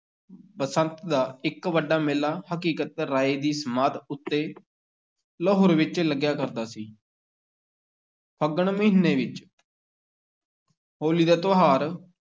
ਬਸੰਤ ਦਾ ਇੱਕ ਵੱਡਾ ਮੇਲਾ ਹਕੀਕਤ ਰਾਏ ਦੀ ਸਮਾਧ ਉੱਤੇ, ਲਾਹੌਰ ਵਿੱਚ ਲੱਗਿਆ ਕਰਦਾ ਸੀ ਫੱਗਣ ਮਹੀਨੇ ਵਿੱਚ ਹੋਲੀ ਦਾ ਤਿਉਹਾਰ